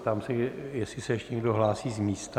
Ptám se, jestli se ještě někdo hlásí z místa?